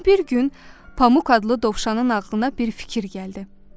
Amma bir gün Pamuk adlı dovşanın ağlına bir fikir gəldi.